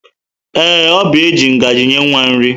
Ee, Oby ji ngaji nye nwa nri.